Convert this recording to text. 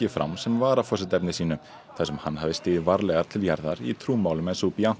fram sem varaforsetaefni sínu þar sem hann hafði stigið varlegar til jarðar í trúmálum en